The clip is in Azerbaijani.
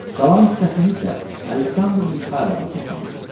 Qalan hissəsini isə Aleksandr Mixaylovna toplamışdı.